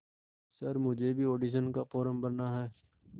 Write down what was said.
sir मुझे भी audition का फॉर्म भरना है